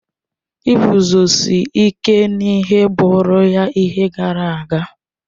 Iguzosi ike n'ihe bụụrụ ya ihe gara aga.